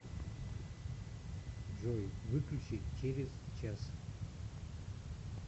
джой выключи через час